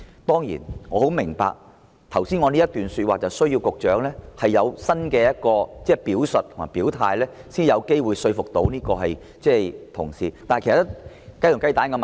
當然，我十分明白，我剛才這番話需要局長作出新的表述和表態，才有機會說服同事，但這是雞與雞蛋的問題。